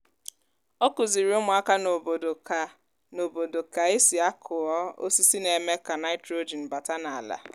ọ kụziri ụmụaka n'obodo ka n'obodo ka esi akụọ osisi na-eme ka nitrogen bata n'ala